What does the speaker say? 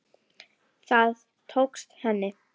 Það tókst henni.